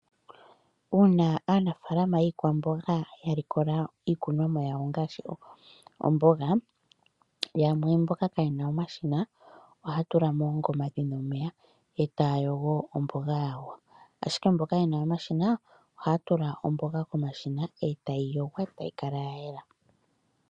Uuna aanafalama yiikwamboga ya likola iikunomwa yawo ngashi oomboga , yamwe mboka kayena omashina ohaa tula moongoma dhina omeya eta yogo oomboga yawo, ashike mboka yena omashina haya tula oomboga komashina etayi yongwa etayi kala ya yela.